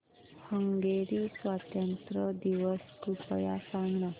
Hungary स्वातंत्र्य दिवस कृपया सांग ना